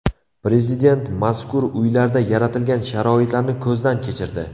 Prezident mazkur uylarda yaratilgan sharoitlarni ko‘zdan kechirdi .